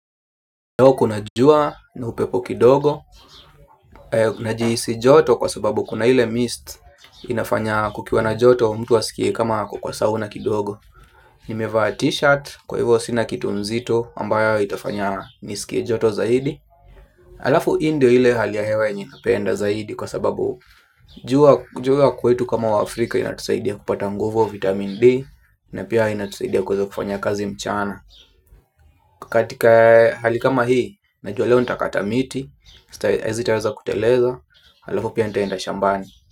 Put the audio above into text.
Leo kuna jua na upepo kidogo, najihisi joto kwa sababu kuna ile mist inafanya kukiwa na joto mtu asikie kama ako kwa sauna kidogo. Nimevaa t-shirt kwa hivyo sina kitu nzito ambayo itafanya niskie joto zaidi. Alafu hii ndio ile hali ya hewa yenye napenda zaidi kwa sababu jua kwetu kama waAfrika inatusaidia kupata nguvu vitamin D. Na pia inatusaidia kuweza kufanya kazi mchana katika hali kama hii, najua leo nitakata miti, hazitaweza kuteleza, halafu pia nitaenda shambani.